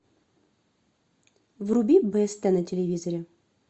вруби беста на телевизоре